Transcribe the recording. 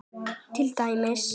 Til dæmis